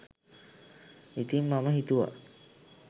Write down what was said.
ඉතිං මම හිතුවා